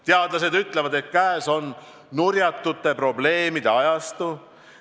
Teadlased ütlevad, et käes on "nurjatute probleemide" ajastu.